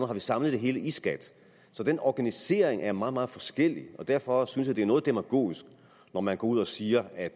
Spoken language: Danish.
har vi samlet det hele i skat så den organisering er meget meget forskellig og derfor synes jeg at det er noget demagogisk når man går ud og siger at